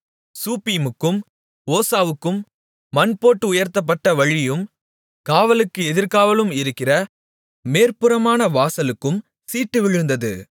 சூப்பீமுக்கும் ஓசாவுக்கும் மண்போட்டு உயர்த்தப்பட்ட வழியும் காவலுக்கு எதிர்காவலும் இருக்கிற மேற்புறமான வாசலுக்கும் சீட்டு விழுந்தது